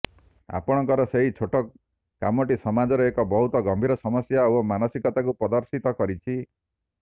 ଆପଣଙ୍କର ସେହି ଛୋଟ କାମଟି ସମାଜର ଏକ ବହୁତ ଗମ୍ଭୀର ସମସ୍ୟା ଓ ମାନସିକତାକୁ ପ୍ରଦର୍ଶିତ କରିଛି